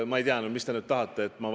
Ma ei tea, mida te nüüd tahate?